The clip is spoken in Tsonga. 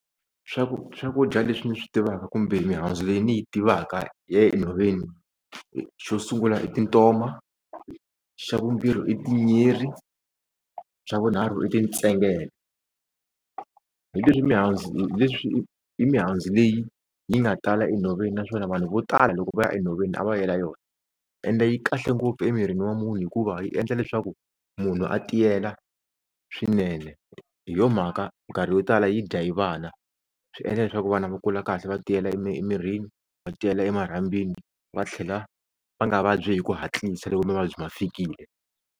swakudya leswi ni swi tivaka kumbe mihandzu leyi ni yi tivaka ya le enhoveni xo sungula i tintoma xa vumbirhi i tinyiri xa vunharhu i tintsengele, hi leswi mihandzu hi leswi i mihandzu leyi yi nga tala enhoveni naswona vanhu vo tala loko va ya enhoveni a va yela yona ende yi kahle ngopfu emirini wa munhu hikuva yi endla leswaku munhu a tiyela swinene, hi yo mhaka minkarhi yo tala yi dya hi vana swi endla leswaku vana va kula kahle va tiyela emirini va tiyela emarhambini va tlhela va nga vabyi hi ku hatlisa loko mavabyi ma fikile.